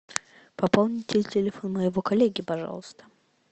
пополните телефон моего коллеги пожалуйста